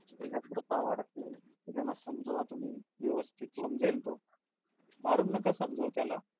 एकाग्रता वाढते. हे त्याना समजावा तुम्ही व्यवस्थित समजेल तो मारून नका समजावू त्याला.